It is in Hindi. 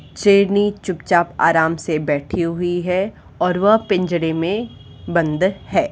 शेरनी चुपचाप आराम से बैठी हुई है और वह पिंजरे में बंद है।